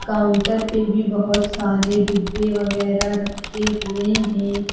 Counter पे भी बहोत सारे डिब्बे वगैरा रखे हुए हैं।